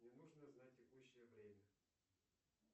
мне нужно знать текущее время